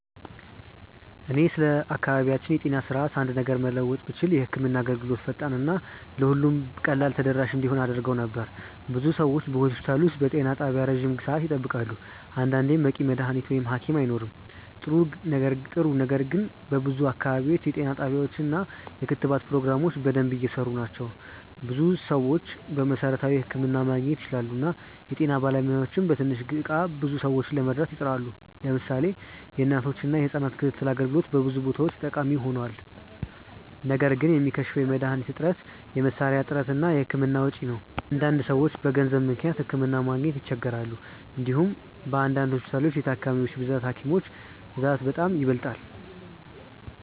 እኔ ስለ አካባቢያችን የጤና ስርዓት አንድ ነገር መለወጥ ብችል የህክምና አገልግሎትን ፈጣን እና ለሁሉም ቀላል ተደራሽ እንዲሆን አደርግ ነበር። ብዙ ሰዎች በሆስፒታል ወይም በጤና ጣቢያ ረጅም ሰዓት ይጠብቃሉ፣ አንዳንዴም በቂ መድሀኒት ወይም ሀኪም አይኖርም። ጥሩ ነገር ግን በብዙ አካባቢዎች የጤና ጣቢያዎች እና የክትባት ፕሮግራሞች በደንብ እየሰሩ ናቸው። ብዙ ሰዎች መሠረታዊ ሕክምና ማግኘት ይችላሉ እና የጤና ባለሙያዎችም በትንሽ እቃ ብዙ ሰዎችን ለመርዳት ይጥራሉ። ለምሳሌ የእናቶችና የህጻናት ክትትል አገልግሎት በብዙ ቦታዎች ጠቃሚ ሆኗል። ነገር ግን የሚከሽፈው የመድሀኒት እጥረት፣ የመሳሪያ እጥረት እና የህክምና ወጪ ነው። አንዳንድ ሰዎች በገንዘብ ምክንያት ሕክምና ማግኘት ይቸገራሉ። እንዲሁም በአንዳንድ ሆስፒታሎች የታካሚዎች ብዛት ከሀኪሞች ብዛት በጣም ይበልጣል።